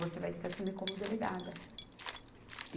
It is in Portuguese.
Você vai ter que assumir como delegada.